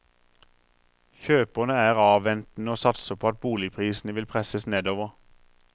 Kjøperne er avventende og satser på at boligprisene vil presses nedover.